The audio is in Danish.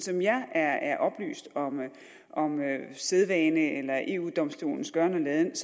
jeg er er oplyst om sædvane eller eu domstolens gøren og laden er